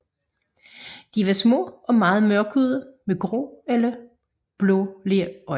De var små og meget mørkhudede med grå eller blålige øjne